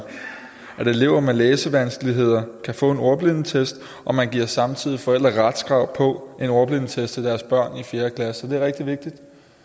at elever med læsevanskeligheder kan få en ordblindetest og man giver samtidig forældre retskrav på en ordblindetest til deres børn i fjerde klasse det er rigtig vigtigt